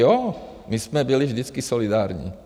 Jo, my jsme byli vždycky solidární.